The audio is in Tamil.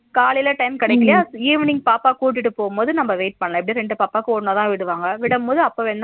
காலையில time கிடைகலய evening பாப்பா கூட்டிட்டு போகும்போது நம்ம wait பண்ணல எபிடியும் ரெண்டு பாப்பாக்கு ஒண்ணாத விடுவாங்க விடும்போது அப்பவேன